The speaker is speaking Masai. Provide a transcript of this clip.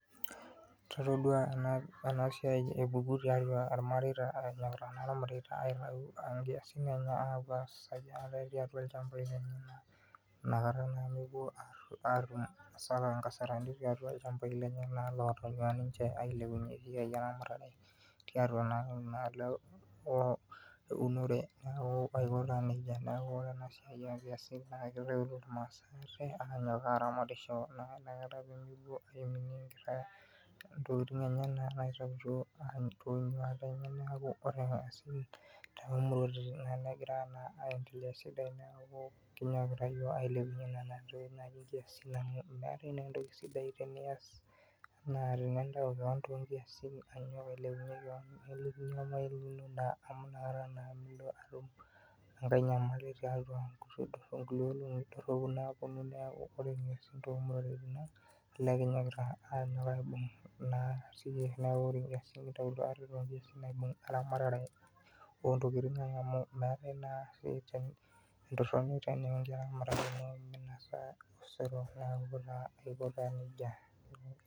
Itodua enasiai epuku too ilmareita aitayu inkiasin enye, inkasarani tiatua ilchambai lenye naa loota niche , eunore aiko taanejia neeku ore ena siai, naa kegira ake aramatisho intokitin enyenak naa nemeku ore asubui metaa naa entoki sidai enaa tininyok too inkiyasin ailepunye kewon, amu inakata naa mintoki atum enyamali, neeku ore iyiiok too intokitin ang olee kinyokita oleng.